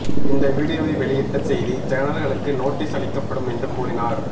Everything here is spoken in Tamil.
இந்த வீடியோவை வெளியிட்ட செய்தி சேனல்களுக்கு நோட்டீஸ் அளிக்கப்படும் என்று கூறினார்